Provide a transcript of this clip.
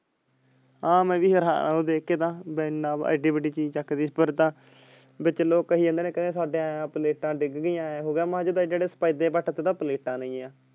ਆਹੋ ਮੈਂ ਵੀ ਉਹ ਦੇਖ ਕੇ ਤਾਂ ਬੀ ਏਨਾ ਏਡੀ ਵੱਡੀ ਚੀਜ਼ ਚੱਕ ਟੀ ਪਰ ਤਾਂ ਵਿਚ ਲੋਕ ਕਹਿ ਜਾਂਦੇ ਨੇ ਕਹਿੰਦੇ ਸਾਡੇ ਐ plates ਡਿੱਗ ਗਈਆਂ ਐਂ ਹੋ ਗਿਆ plates ਨੇ।